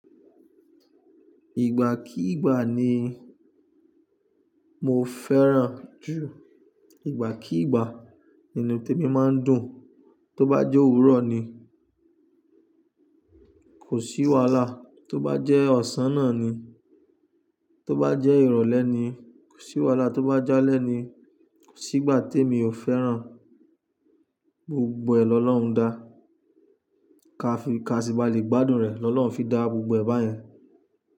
Ìgbà kí ìgbà ni mo fẹ́ràn jù, ìgbà kí ìgbà nínú témi máa ń dùn. Tó bá jẹ́ òwúrọ̀ ni kò sí wàhálà, tó bá jẹ́ ọ̀sán náà ni, tó bá jẹ́ ìrọ̀lẹ́ ni kò sí wàhálà, tó bá jẹ́ alẹ́ ni kò sí ìgbà tí èmi ò fẹ́ràn. Gbogbo ẹ̀ lọ lọ́hùn dá. Kaṣí bá lè gbádùn rẹ lọ lọ́hùn fi dá gbogbo ẹ̀ báyẹn.